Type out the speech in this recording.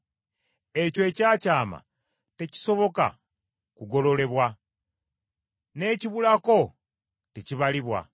Ekyo ekyakyama tekisoboka kugololebwa, n’ekibulako tekibalibwa.